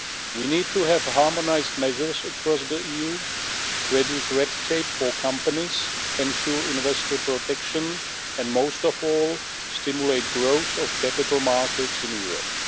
We need to have harmonised measures across the EU, reduce red tape for companies, ensure investor protection, and, most of all, stimulate the growth of capital markets in Europe.